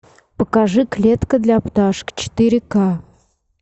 покажи клетка для пташек четыре к